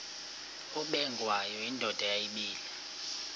ubengwayo indoda yayibile